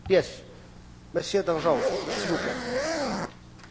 J'ai une question très simple et très précise à poser à notre collègue.